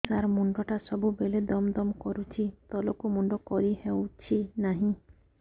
ସାର ମୁଣ୍ଡ ଟା ସବୁ ବେଳେ ଦମ ଦମ କରୁଛି ତଳକୁ ମୁଣ୍ଡ କରି ହେଉଛି ନାହିଁ